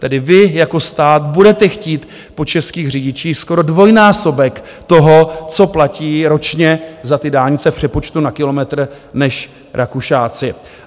Tedy vy jako stát budete chtít po českých řidičích skoro dvojnásobek toho, co platí ročně za ty dálnice v přepočtu na kilometr, než Rakušáci.